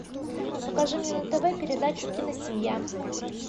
покажи мне на тв передачу киносемья